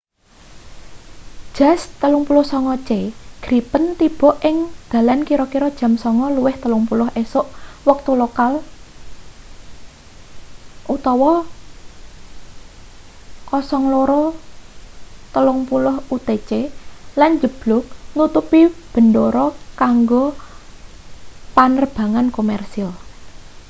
jas 39c gripen tiba ing dalan kira-kira jam 9.30 esuk wektu lokal 0230 utc lan njeblug nutup bendara kanggo panerbangan komersil